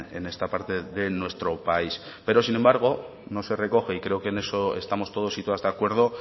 en esta parte de nuestro país pero sin embargo no se recoge y creo que en eso estamos todos y todas de acuerdo